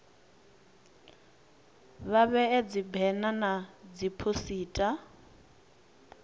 vha vhee dzibena na dziphosita